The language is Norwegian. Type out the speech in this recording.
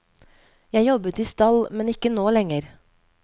Jeg jobbet i stall, men ikke nå lenger.